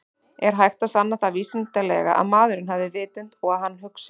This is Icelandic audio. Er hægt að sanna það vísindalega að maðurinn hafi vitund og að hann hugsi?